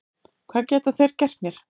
Hvað geta þeir gert mér?